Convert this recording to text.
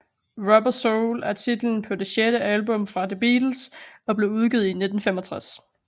Rubber Soul er titlen på det sjette album fra The Beatles og blev udgivet i 1965